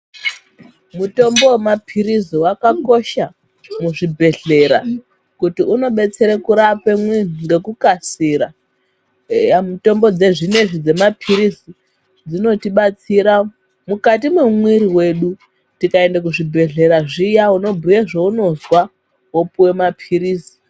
Mutombo womaphirizi wakakosha muzvibhedhlera kuti unobetsere kurape munhu ngekukasira eya mitombo dzezvinezvi dzemaphirizi dzinotibatsira mukati mwemwiri wedu. Tikaende kuzvibhedhlera zviya unobhuye zvaunozwa wopuwe maphirizi.